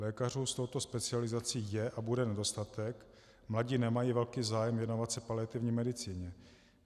Lékařů s touto specializací je a bude nedostatek, mladí nemají velký zájem věnovat se paliativní medicíně.